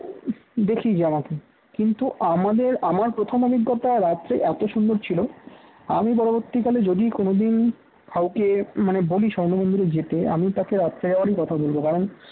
দেখি জানাতে কিন্তু আমাদের আমার প্রথম অভিজ্ঞতা রাত্রে এত সুন্দর ছিল আমি পরবর্তীকালে যদি কোনও দিন কাউকে মানে বলি স্বর্ণ মন্দিরে যেতে আমি তাকে রাত্রে যাবারি কথা বলব কারণ